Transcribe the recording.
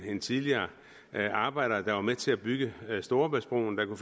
en tidligere arbejder der var med til at bygge storebæltsbroen og